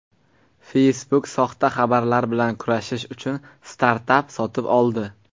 Facebook soxta xabarlar bilan kurashish uchun startap sotib oldi.